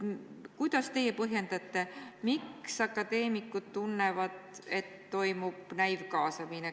Kuidas te põhjendate seda, miks akadeemikud tunnevad, et toimub näivkaasamine?